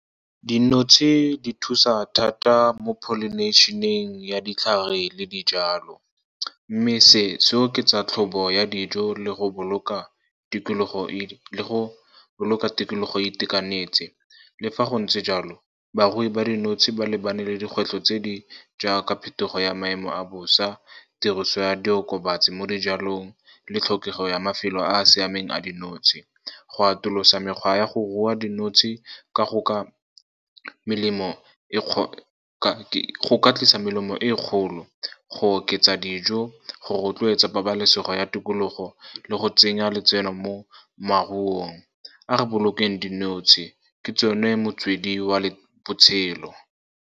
Dinotshe di thusa thata mo pollination-eng ya ditlhare le dijalo, mme se se oketsa tlhobo ya dijo le go boloka tikologo itekanetse. Le fa go ntse jalo, barui ba dinotshe ba lebane le dikgwetlho tse di jaaka phetogo ya maemo a bosa, tiriso ya diokobatsi mo dijalong le tlhokego ya mafelo a a siameng a dinotshe. Go atolosa mekgwa ya go rua dinotshe go ka tlisa melemo e kgolo, go oketsa dijo, go rotloetsa pabalesego ya tikologo le go tsenya letseno mo maruong. A re bolokeng dinotshe, ke tsone motswedi wa botshelo.